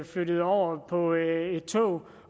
flyttet over på et tog